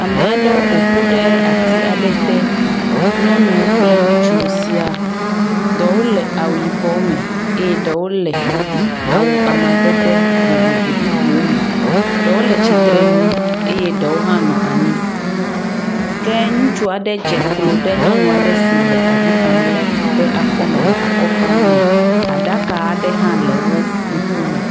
Ame aɖewo ƒoƒu ɖe ati aɖe te. Nyɔnuwo kple ŋutsuwo sia. Ɖewo le awu yibɔ me eye ɖewo le awu amadede vovovo bubuwo me. Ɖewo le tsitrenu eye ɖewo hã nɔ anyi ke ŋutsu aɖe dze klo ɖe nyɔnu aɖe si le avi fam la ƒe akɔme le akɔ fam nɛ. Aɖaka aɖe hã le wo ŋkume.